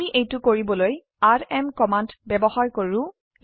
আমি এইটো কৰিবলৈ আৰএম কমান্ড ব্যবহাৰ কৰো